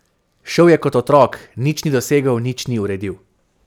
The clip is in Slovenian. Šel je kot otrok, nič ni dosegel, nič ni uredil.